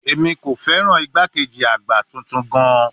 Emi ko fẹran igbakeji agba tuntun gaan